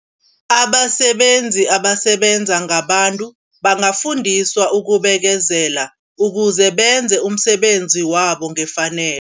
Abasebenzi abasebenza ngabantu bangafundiswa ukubekezela. Ukuze benze umsebenzi wabo ngefanelo.